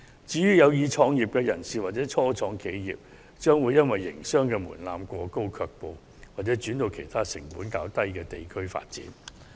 至於有意創業的人士或初創企業，則會因為營商門檻過高而卻步，又或轉往其他成本較低的地區發展。